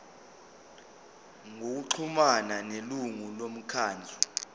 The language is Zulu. ngokuxhumana nelungu lomkhandlu